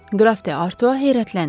Qraf D'Artua heyrətləndi.